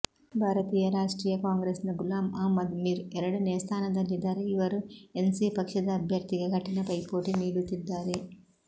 ಭಾರತೀಯ ರಾಷ್ಟ್ರೀಯ ಕಾಂಗ್ರೆಸ್ನ ಗುಲಾಮ್ ಅಹ್ಮದ್ ಮಿರ್ ಎರಡನೆಯ ಸ್ಥಾನದಲ್ಲಿದ್ದಾರೆ ಇವರು ಎನ್ಸಿ ಪಕ್ಷದ ಅಭ್ಯರ್ಥಿಗೆ ಕಠಿಣ ಪೈಪೋಟಿ ನೀಡುತ್ತಿದ್ದಾರೆ